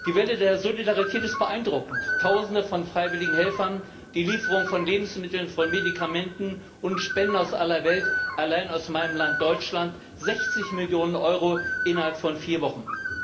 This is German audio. Die Welle der Solidarität ist beeindruckend Tausende von freiwilligen Helfern, die Lieferung von Lebensmitteln, von Medikamenten und Spenden aus aller Welt allein aus meinem Land, Deutschland, 60 Millionen Euro innerhalb von vier Wochen.